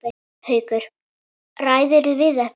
Haukur: Ræðirðu við þetta?